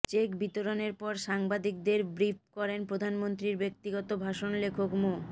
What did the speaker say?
check বিতরণের পর সাংবাদিকদের ব্রিফ করেন প্রধানমন্ত্রীর ব্যক্তিগত ভাষণ লেখক মো